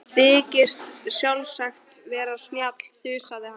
Þykist sjálfsagt vera snjall, þusaði hann.